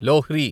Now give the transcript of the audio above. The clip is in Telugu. లోహ్రి